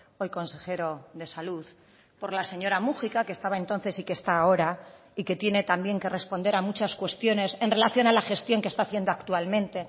hoy consejero de salud por la señora múgica que estaba entonces y que está ahora y que tiene también que responder a muchas cuestiones en relación a la gestión que está haciendo actualmente